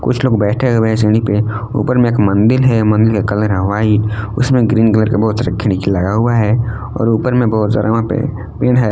कुछ लोग बैठे हुए हैं सीढ़ी पे ऊपर में एक मंदिल है मंदिल का कलर है व्हाइट उसमें ग्रीन कलर का बहुत सारा खिड़की लगा हुआ है और ऊपर में बहुत सारा वहां पे पेड़ है।